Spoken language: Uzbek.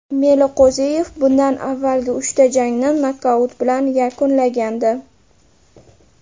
Meliqo‘ziyev bundan avvalgi uchta jangni nokaut bilan yakunlagandi.